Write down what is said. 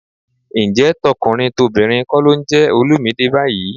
Ǹjẹ́ tọkùnrin tobìnrin kọ́ ló ń jẹ Olumide báyìí?